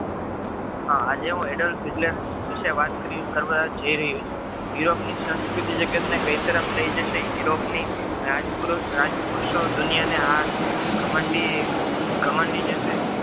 આજે હું aedares વિષે વાત કરવા જઈ રહીયો છું europe સંસ્કૃતિ જગત ને કઈ તરફ લઈ જશે europe ની રાજ~ રાજપુરોત રાજપુરુષો દુનિયા ને આ ઘમંડી ઘમંડી જશે.